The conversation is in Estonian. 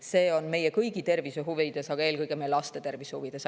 See on meie kõigi tervise huvides, aga eelkõige meie laste tervise huvides.